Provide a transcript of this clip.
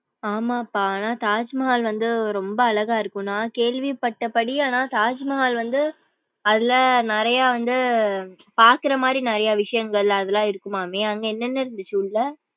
ஆமாப்ப. ஆனா, தாஜ்மஹால் வந்து ரொம்ப அழகா இருக்கும் நா கேள்விப்பட்ட படி ஆனா தாஜ்மஹால் வந்து அதுல நிறையா வந்து பாக்குறமாரி நிறைய விஷயங்கள் அதெல்லாம் இருக்கும்மமே அங்க என்ன என்ன இருந்துசு உள்ள.